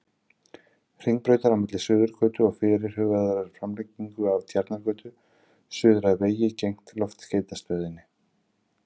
Hringbrautar, á milli Suðurgötu og fyrirhugaðrar framlengingu af Tjarnargötu, suður að vegi gegnt Loftskeytastöðinni.